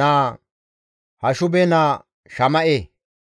naa, Hashube naa Shama7e,